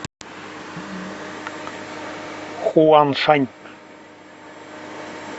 хуаншань